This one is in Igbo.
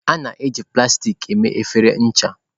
A na-eji plastik mee efere ncha.